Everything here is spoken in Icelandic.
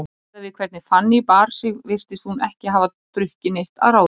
Miðað við hvernig Fanný bar sig virtist hún ekki hafa drukkið neitt að ráði.